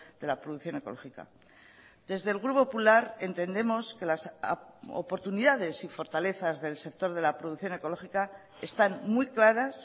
de la producción ecológica desde el grupo popular entendemos que las oportunidades y fortalezas del sector de la producción ecológica están muy claras